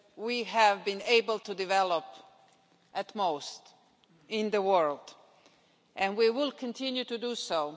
we have been able to develop at most in the world and we will continue to do so.